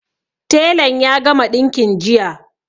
Telan ya gama ɗinkin jiya